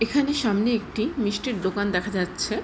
এখানে সামনে একটি মিষ্টির দোকান দেখা যাচ্ছে।